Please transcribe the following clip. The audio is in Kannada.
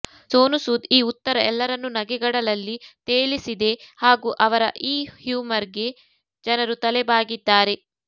ಸೋನು ಸೂದ್ ಈ ಉತ್ತರ ಎಲ್ಲರನ್ನೂ ನಗೆಗಡಲಲ್ಲಿ ತೇಲಿಸಿದೆ ಹಾಗೂ ಅವರ ಈ ಹ್ಯೂಮರ್ಗೆ ಜನರು ತಲೆ ಬಾಗಿದ್ದಾರೆ